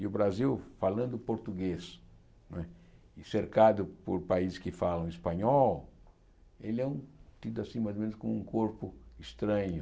E o Brasil, falando português não é, cercado por países que falam espanhol, ele é um tido assim mais ou menos como um corpo estranho.